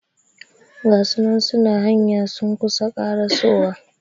Gasunan suna hanya sun kusa karasowa